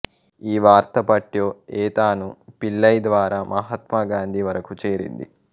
ఈ వార్త పట్టో ఎ థాను పిళ్ళై ద్వారా మహాత్మా గాంధీ వరకు చేరింది